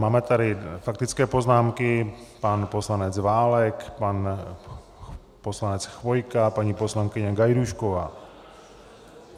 Máme tady faktické poznámky, pan poslanec Válek, pan poslanec Chvojka, paní poslankyně Gajdůšková.